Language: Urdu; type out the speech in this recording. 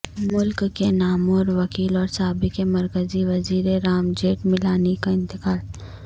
ملک کے نامور وکیل اور سابق مرکزی وزیر رام جیٹھ ملانی کا انتقال